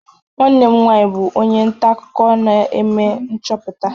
Nwanne m nwanyị bụ onye nta akụkọ na-eme nchọpụta.